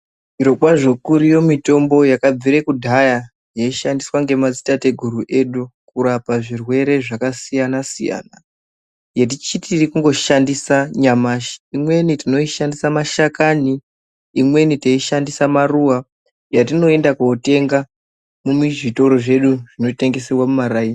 Zviri kwazvo kuri yo mitombo yakabvira kudhaya yeishandiswa ngemadzitateguru edu kurapa zvirwere zvakasiyana siyana yetichiri kungoshandisa nyamashi. Imwe tinoshandisa ma shakani, imweni teishandisa maruwa yatinoenda kundotenga muzvitoro zvedu zvinotengeserwa mumaraini